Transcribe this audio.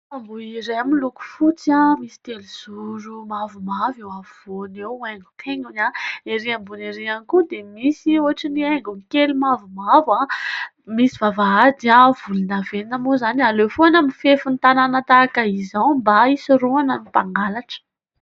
Tamboho iray miloko fotsy, misy telo zoro mavomavo eo afovoany eo haingokaingony ery ambony ery koa dia misy ohatran'ny haingony kely mavomavo. Misy vavahady volondavenina moa izany. Aleo foana mifefin'ny tanàna tahaka izao mba hisoroana ny mangalatra.